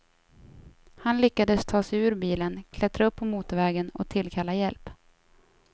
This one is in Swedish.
Han lyckades ta sig ut ur bilen, klättra upp på motorvägen och tillkalla hjälp.